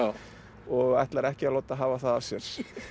og ætlar ekki að láta hafa það af sér